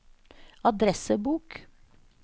adressebok